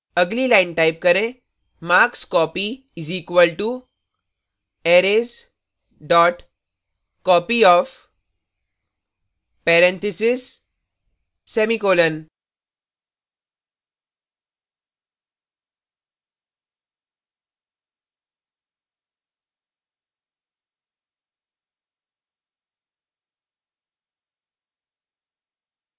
अगली line type करें markscopy = arrays copyof marks 5;